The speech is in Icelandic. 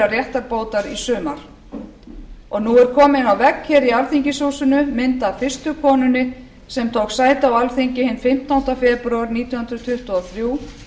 réttarbótar í sumar og nú er komin á vegg hér í alþingishúsinu mynd af fyrstu konunni sem tók sæti á alþingi hinn fimmtánda febrúar nítján hundruð tuttugu og þrjú